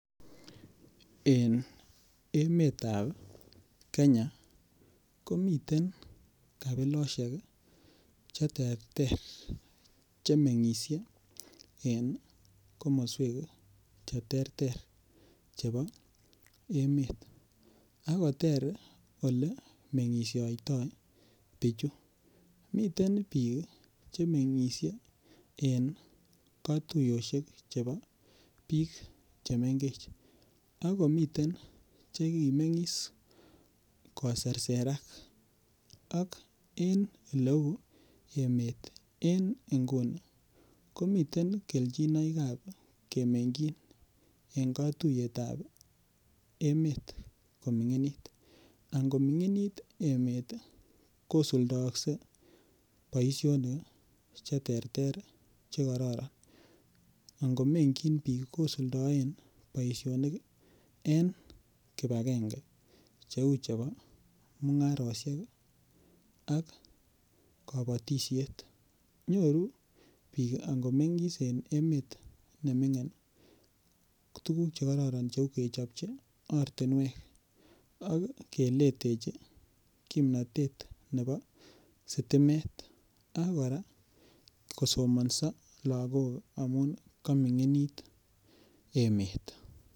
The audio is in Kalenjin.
En emetab Kenya komiten komiten kabilosiek Che terter Che mengisie en komoswek Che terter chebo emet ako ter Ole mengisiotoi bichu miten bik Che mengisie en katuyosyek chebo bik chemengech ak komiten Che ki komengis koserserak en oleu emet en nguni komiten kelchinoik chebo kemengchin en katuiyet ab bik chemengech en emet amun angominginit emet ii kosuldoakse boisionik Che terter Che kororon ango mengyin bik kosuldaen boisinik en kibagenge Cheu chebo mungarosiek ak kabatisiet nyoru bik ango mengis en emet nemingin tuguk Che kororon cheu kechopchi ortinwek ak keletechi kimnatet nebo sitimet ak kora kosomanso lagok amun kaminginit emet